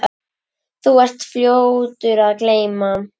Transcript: Þú ert fljótur að gleyma.